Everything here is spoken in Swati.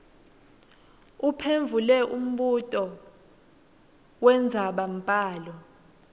uphendvule umbuto wendzabambhalo